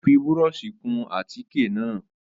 Ó fi búrọ́ọ̀ṣì kun àtíkè náà.